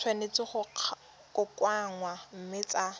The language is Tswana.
tshwanetse go kokoanngwa mme tsa